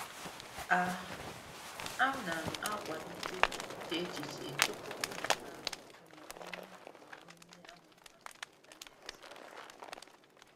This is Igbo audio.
A A nam akwalite iche echiche tupu mmụta omume nhuru n' onye àmà àmà n' intaneti.